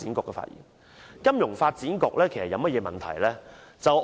其實金發局有甚麼問題？